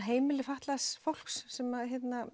heimili fatlaðs fólks sem